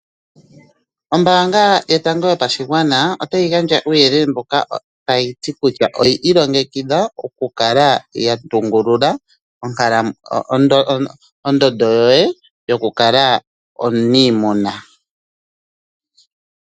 Ombaanga yotango yopashigwana gandja uuyelele mbuka kutya oyi ilongekidha okukala ya tungulula ondoondodo yoye yoku kala ominiimuna.